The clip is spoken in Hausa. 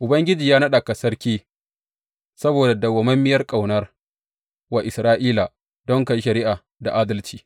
Ubangiji ya naɗa ka sarki saboda madawwamiyar ƙaunar wa Isra’ila, don ka yi shari’a da adalci.